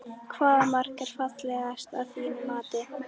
Hvaða mark er fallegast að þínu mati?